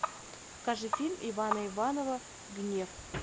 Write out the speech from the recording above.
покажи фильм ивана иванова гнев